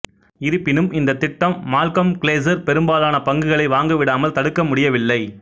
இருப்பினும் இந்தத் திட்டம் மால்கம் கிளேசர் பெரும்பாலான பங்குகளை வாங்கவிடாமல் தடுக்க முடியவில்லை